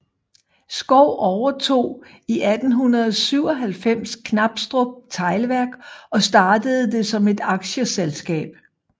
Schou overtog i 1897 Knabstrup Teglværk og startede det som et aktieselskab